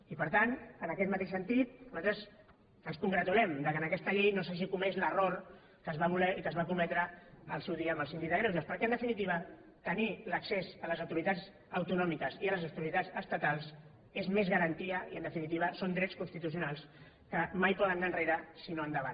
i per tant en aquest mateix sentit nosaltres ens congratulem que en aquesta llei no s’hagi comès l’error que es va voler i que es va cometre al seu dia amb el sín dic de greuges perquè en definitiva tenir l’accés a les autoritats autonòmiques i a les autoritats estatals és més garantia i en definitiva són drets constitucionals que mai poden anar enrere sinó endavant